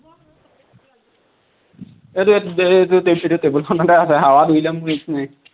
এইটো এইটো দে এইটো এইটো টেবুলখনতে আছে, হাৱাত উৰি যামগৈ ইপিনে